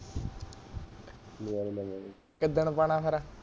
ਕਿੱਦਣ ਪਾਣਾ ਫੇਰ